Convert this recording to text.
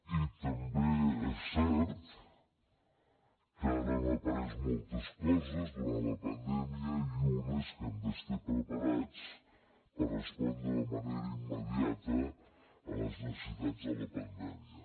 i també és cert que ara hem après moltes coses durant la pandèmia i una és que hem d’estar preparats per respondre de manera immediata a les necessitats de la pandèmia